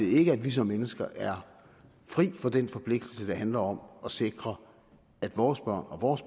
ikke at vi som mennesker er fri for den forpligtelse der handler om at sikre at vores børn og vores